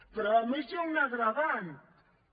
però a més hi ha un agreujant i